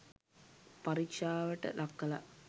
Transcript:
පරීක්ෂාවට ලක් කලා.